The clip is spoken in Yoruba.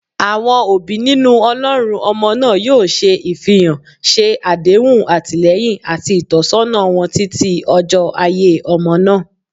Awọn obi ninu olorun ọmọ naa yoo se- ifihan, ṣe adehun atilẹyin ati itọsọna wọn titi ojo aiye omo na